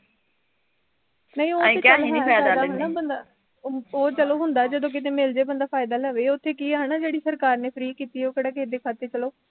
ਨਹੀਂ ਉਹ ਤੇ ਚੱਲ ਹੈ ਫ਼ੈਦਾ ਹੈਨਾ ਬੰਦਾ, ਉਹ ਚੱਲ ਹੁੰਦਾ ਜਦੋਂ ਕਿਤੇ ਮਿਲਜੇ ਬੰਦਾ ਫਾਇਦਾ ਲਵੇ ਓਥੇ ਕੀ ਹੈਨਾ ਜਿਹੜੀ ਸਰਕਾਰ ਨੇ free ਕੀਤੀ ਉਹ ਕਿਹੜਾ ਕਿਸੇ ਦੇ ਖਾਤੇ ਚਲੋ